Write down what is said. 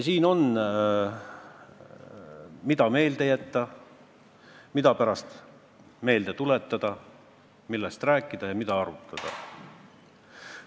Siin on, mida meelde jätta ja pärast meelde tuletada, millest rääkida ja mida arutada.